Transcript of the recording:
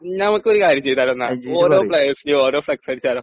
നമുക്ക് ഒരു കാര്യം ചെയ്താലോ എന്നാൽ ഓരോ പ്ലേയർസിനും ഓരോ ഫ്ലക്സ് അടിച്ചാലോ